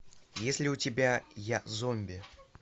есть ли у тебя я зомби